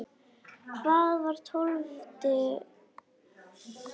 Hvað var tólfti?